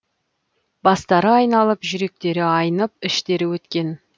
бастары айналып жүректері айнып іштері өткен